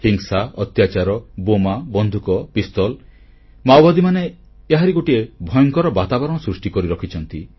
ହିଂସା ଅତ୍ୟାଚାର ବୋମା ବନ୍ଧୁକ ପିସ୍ତଲ ମାଓବାଦୀମାନେ ଏହାରି ଗୋଟିଏ ଭୟଙ୍କର ବାତାବରଣ ସୃଷ୍ଟି କରିରଖିଛନ୍ତି